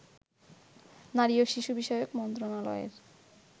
নারী ও শিশু বিষয়ক মন্ত্রণালয়ের